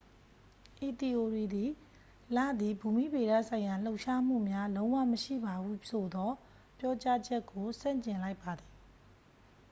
ဤသီအိုရီသည် လသည် ဘူမိဗေဒဆိုင်ရာလှုပ်ရှားမှုများလုံးဝမရှိပါဟုဆိုသော ပြောကြားချက်ကို ဆန့်ကျင်လိုက်ပါသည်